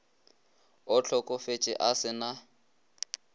o hlokofetše a se na